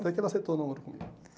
Até que ela aceitou o namoro comigo.